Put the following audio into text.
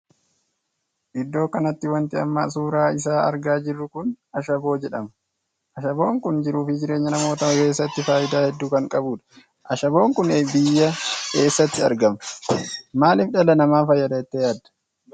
Idoo kanatti wanti amma suuraa isaa argaa jiru kun ashaboo jedhama. shabboon kun jiruu fi jireenya namootaa keessatti faayidaa hedduu kan qabudha. ashaboon kun biyya eessaatti argama? maaliif dhala nama fayyada jettee yaadda?